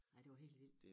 Ej det var helt vildt